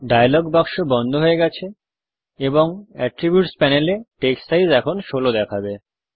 dialogue বাক্স বন্ধ হয়ে গেছে এবং অ্যাট্রিবিউটস প্যানেলে টেক্সট সাইজ এখন ১৬ দেখাবে